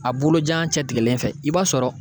A bolojan cɛtigɛlen fɛ i b'a sɔrɔ